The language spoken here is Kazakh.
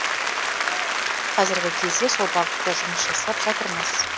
қазіргі кезде сол бағытта жұмыс жасап жатырмыз